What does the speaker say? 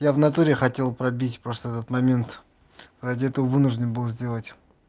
я в натуре хотел пробить просто этот момент ради этого вынужден был сделать